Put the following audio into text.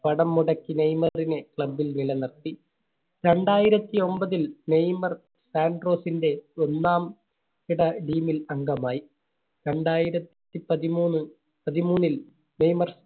പണം മുടക്കി നെയ്മറിനെ Club ൽ നിലനിർത്തി. രണ്ടായിരത്തി ഒമ്പതിൽ നെയ്‌മർ സാൻട്രോസിന്റെ ഒന്നാം കിട Team ൽ അംഗമായി. രണ്ടായിരത്തി പതിമൂന്ന് പതിമൂന്നിൽ നെയ്‌മർ